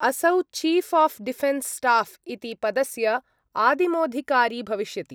असौ chief of defence staff इति पदस्य आदिमोधिकारी भविष्यति।